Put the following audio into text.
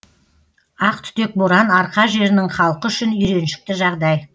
ақтүтек боран арқа жерінің халқы үшін үйреншікті жағдай